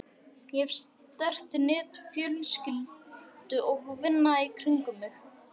Ég hef sterkt net fjölskyldu og vina í kringum mig.